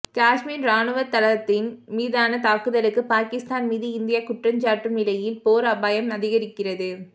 காஷ்மீர் இராணுவத்தளத்தின் மீதான தாக்குதலுக்கு பாகிஸ்தான் மீது இந்தியா குற்றஞ்சாட்டும் நிலையில் போர் அபாயம் அதிகரிக்கிறது